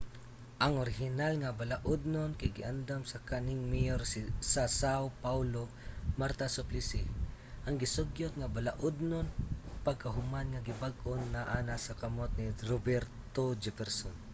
ang orihinal nga balaudnon kay giandam sa kanhing mayor sa são paulo marta suplicy. ang gisugyot nga balaudnon pagkahuman nga gibag-o naa na sa kamot ni roberto jefferson